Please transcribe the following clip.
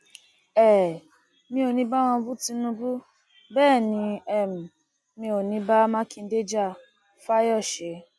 um mi ò ní í bá wọn bu tinubu bẹẹ ni um mi ò bá mákindé ja fáyọsé